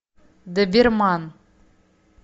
доберман